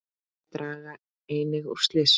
Þau draga einnig úr slysum.